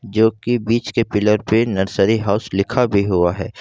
जो की बीच के पिलर पे नर्सरी हाउस लिखा भी हुआ है।